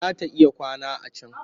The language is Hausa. Za ta iya kwana a can